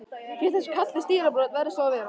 Sé þessi kafli stílbrot, verður svo að vera.